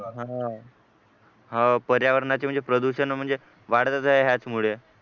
अह पर्यावरणाचे म्हणजे प्रदूषण म्हणजे वाढतच आहे याचमुळे